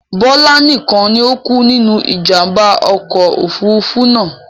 Bọlá nikan ni o kú nínú ìjàmbá ọkọ̀ Òfurufú náà.